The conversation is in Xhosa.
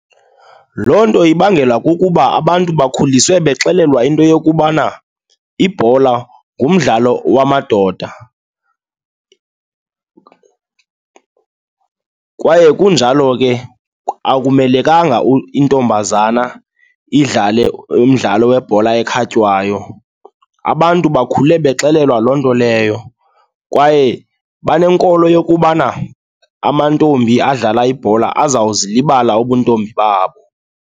Loo nto ibangelwa kukuba abantu bakhuliswe bexelelwa into yokubana ibhola ngumdlalo wamadoda kwaye kunjalo ke akumelekanga intombazana idlale umdlalo webhola ekhatywayo. Abantu bakhule bexelelwa loo nto leyo kwaye banenkolo yokubana amantombi adlala ibhola azawuzilibala ubuntombi babo.